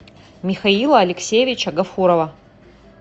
михаила алексеевича гафурова